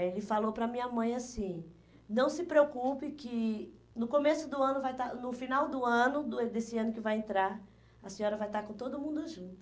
Eh ele falou para a minha mãe assim, não se preocupe que no começo do ano vai estar, no final do ano, do desse ano que vai entrar, a senhora vai estar com todo mundo junto.